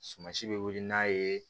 Sumansi bɛ wili n'a ye